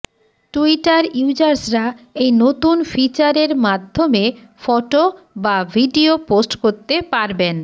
Twitter ইয়ুজার্সরা এই নতুন ফিচার এর মাধ্য়মে ফটো বা ভিডিও পোস্ট করতে পারবেন